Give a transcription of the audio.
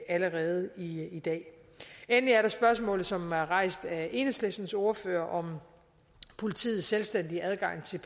allerede i i dag endelig er der spørgsmålet som er rejst af enhedslistens ordfører om politiets selvstændige adgang til